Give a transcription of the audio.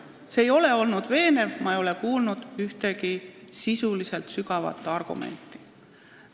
See pidurdamine ei ole veenev – ma ei ole kuulnud ühtegi sisulist ega sügavat argumenti.